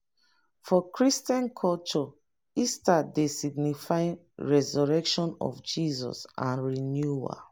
for christian culture easter dey signify resurrection of jesus and renewal